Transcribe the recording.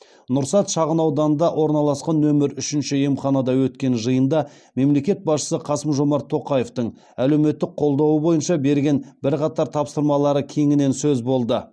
нұрсәт шағынауданында орналасқан нөмір үшінші емханада өткен жиында мемлекет басшысы қасым жомарт тоқаевтың әлеуметтік қолдауы бойынша берген бірқатар тапсырмалары кеңінен сөз болды